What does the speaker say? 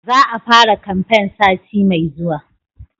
Za a fara kamfen sati mai zuwa